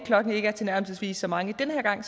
klokken ikke er tilnærmelsesvis så mange den her gang